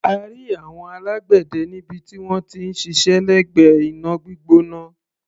A rí àwọn alágbẹ̀dẹ níbi tí wọ́n ti ń ṣiṣẹ́ lẹ́gbẹ̀ẹ́ iná gbígbóná.